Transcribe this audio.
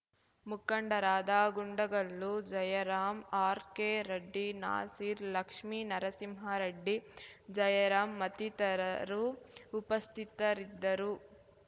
ಮುಖಂಡರಾದ ಗುಂಡಗಲ್ಲು ಜಯರಾಂ ಆರ್ಕೆರೆಡ್ಡಿ ನಾಸೀರ್ ಲಕ್ಷ್ಮಿನರಸಿಂಹರೆಡ್ಡಿ ಜಯರಾಂ ಮತ್ತಿತರರು ಉಪಸ್ಥಿತರಿದ್ದರು